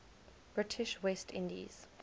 british west indies